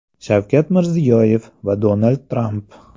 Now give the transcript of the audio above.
Shavkat Mirziyoyev va Donald Tramp.